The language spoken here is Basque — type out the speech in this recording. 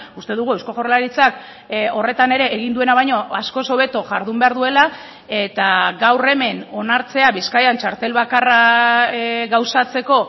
uste dugu eusko jaurlaritzak horretan ere egin duena baino askoz hobeto jardun behar duela eta gaur hemen onartzea bizkaian txartel bakarra gauzatzeko